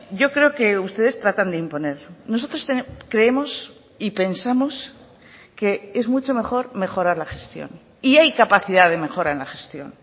yo creo que ustedes tratan de imponer nosotros creemos y pensamos que es mucho mejor mejorar la gestión y hay capacidad de mejora en la gestión